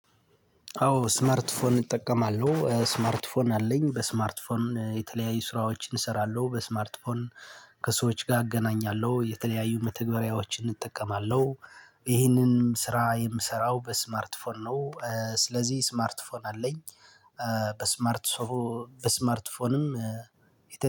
አዎ ስማርትፎን እጠቀማለሁ ስማርትፎን አለኝ በስማርትፎን የተለያዩ ስራዎችን እሰራለሁ በስማርትፎን ከሰዎች ጋር እገናኛለሁ የተለያዩ መተግበሪያዎችን እጠቀማለሁ። ይህንን ስራ የምሰራው በስማርት ፎን ነው። ስለዚህ ስማርት ፎን አለኝ። በስማርት በስማርት ፎንም